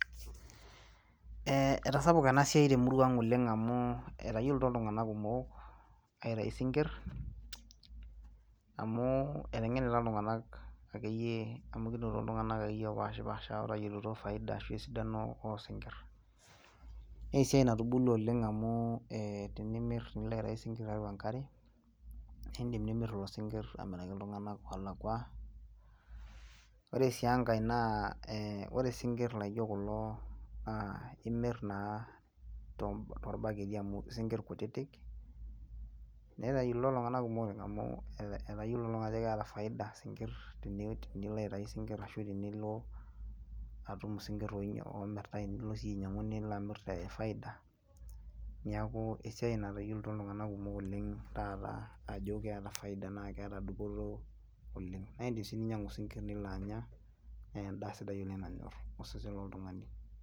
Eehe etasapuka ena siai temurua ang oleng amu etayiolito iltung'anak kumok aitayu isinkir amu eteng'enita iltung'anak akeyie opashipasha ooyiolo faida ashua esidano oosinkir neesiai natubulua oleng amu ee tenilo aitayu isinkir tiatua enkare keidim nimir lelo sinkir amiraki iltung'anak oolakua ore sii enkai naa ee ore isinkir laijio kulo naa imir naa toorbaketi amu eikutitik netayiolito iltung'anak kumok ina amu etayiolito iltung'anak aajo keeta faida isinkir telino aitayu isinkir ashu tenilo atum isinkir oomirtai nilo sii ainyiang'u nilo amir te faida niaku esiai natayiolito iltung'anak kumok oleng taaata ajo keeta faida naa keeta dupoto oleng naa indiim sii ninyiang'u isinkir nilo anya naa endaa nanyor osesen loltung'ani.